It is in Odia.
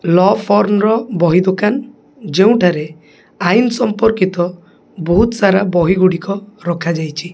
ଲ ଫର୍ମ ର ବହି ଦୋକାନ ଯେଉଁଠାରେ ଆଇନ ସମ୍ପର୍କିତ ବହୁତ ସାରା ବହି ଗୁଡିକ ରଖାଯାଇଚି।